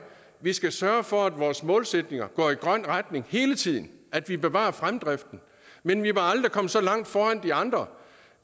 vi skal sørge for at vores målsætninger går i grøn retning hele tiden at vi bevarer fremdriften men vi må aldrig komme så langt foran de andre